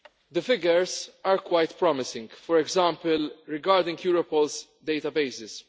The figures are quite promising, for example regarding Europol's databases.